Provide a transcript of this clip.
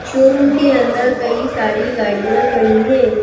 Showroom के अंदर कई सारी गाड़ियाँ खड़ी हैं।